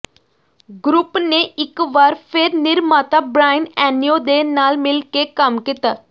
group ਨੇ ਇਕ ਵਾਰ ਫਿਰ ਨਿਰਮਾਤਾ ਬ੍ਰਾਇਨ ਐਨਓ ਦੇ ਨਾਲ ਮਿਲ ਕੇ ਕੰਮ ਕੀਤਾ